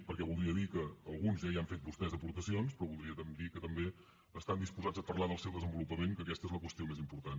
perquè voldria dir que alguns ja hi han fet vostès aportacions però voldria dir que també estan disposats a parlar del seu desenvolupament que aquesta és la qüestió més important